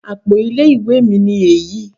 Àpo ilé ìwé mi ni èyí